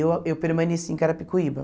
E eu a eu permaneci em Carapicuíba.